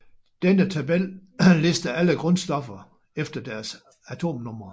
Denne tabel lister alle grundstoffer efter deres atomnumre